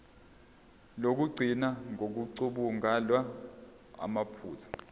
lokugcina ngokucubungula amaphutha